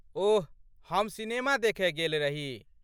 ओह, हम सिनेमा देखय गेल रही।